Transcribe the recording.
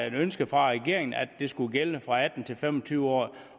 et ønske fra regeringen om at det skulle gælde fra atten til fem og tyve år